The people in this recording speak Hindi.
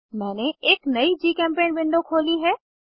मैंने एक नयी जीचेम्पेंट विंडो खोली है